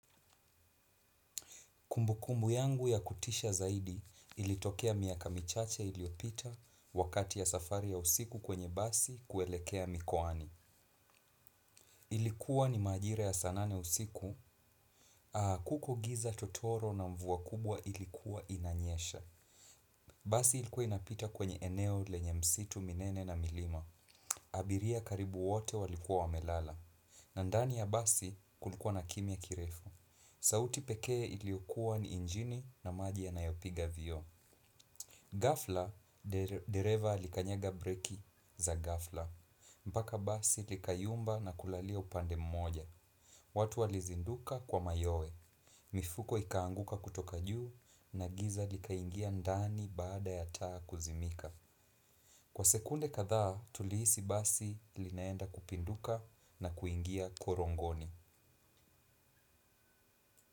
Kumbu kumbu yangu ya kutisha zaidi ilitokea miaka michache iliopita wakati ya safari ya usiku kwenye basi kuelekea mikwani. Ilikuwa ni majira ya saa nane usiku. Kuko giza totoro na mvua kubwa ilikuwa inanyesha. Basi ilikuwa inapita kwenye eneo lenye misitu minene na milima. Abiria karibu wote walikuwa wamelala. Na ndani ya basi kulikuwa na kimia kirefu. Sauti pekee iliyokuwa ni ingini na maji yanayo piga vioo. Ghafla, dereva alikanyaga breki za ghafla. Mpaka basi likayumba na kulalia upande mmoja. Watu walizinduka kwa mayoe. Mifuko ikanguka kutoka juu na giza likaingia ndani baada ya taa kuzimika. Kwa sekunde kadhaa, tulihisi basi linaenda kupinduka na kuingia korongoni.